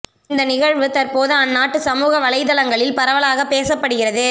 இந்த நிகழ்வு தற்போது அந்நாட்டு சமூக வலைத்தளங்களில் பரவலாக பேசப்படுகிறது